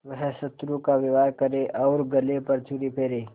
वह शत्रु का व्यवहार करे और गले पर छुरी फेरे